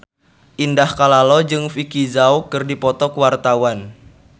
Indah Kalalo jeung Vicki Zao keur dipoto ku wartawan